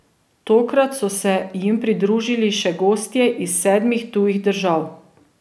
Tokrat so se jim pridružili še gostje iz sedmih tujih držav.